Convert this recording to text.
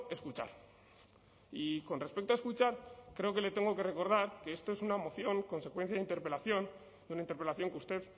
escuchar y con respecto a escuchar creo que le tengo que recordar que esto es una moción consecuencia de interpelación de una interpelación que usted